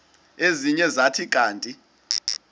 ezinye zathi kanti